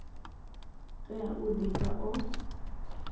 tea u di pfa o